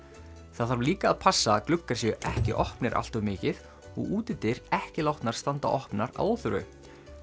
það þarf líka að passa að gluggar séu ekki opnir allt of mikið og útidyr ekki látnar standa opnar að óþörfu